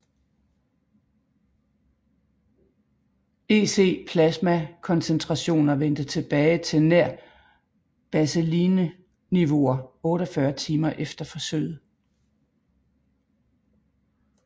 EC plasmakoncentrationer vendte tilbage til nær baselineniveauer 48 timer efter forsøget